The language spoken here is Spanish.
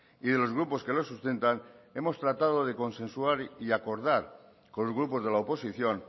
y de los grupos que lo sustentan hemos tratado de consensuar y acordar con los grupos de la oposición